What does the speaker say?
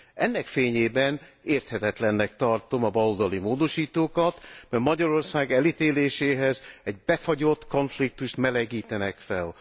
Ennek fényében érthetetlennek tartom a baloldali módosítókat, mert Magyarország elítéléséhez egy befagyott konfliktust melegítenek fel.